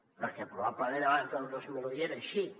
perquè probablement abans del dos mil un ja era així